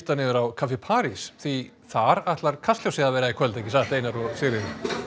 niður á kaffi París því þar ætlar Kastljósið að vera í kvöld ekki satt Einar og Sigríður